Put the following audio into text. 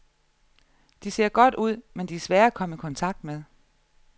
De ser godt ud, men de er svære at komme i kontakt med.